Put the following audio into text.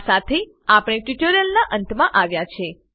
આ સાથે આપણે ટ્યુટોરીયલ ના નાત માં આવ્યા છે